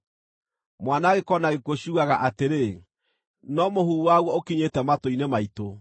Mwanangĩko na gĩkuũ ciugaga atĩrĩ, ‘No mũhuhu waguo ũkinyĩte matũ-inĩ maitũ.’